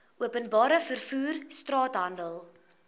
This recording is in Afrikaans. openbare vervoer straathandel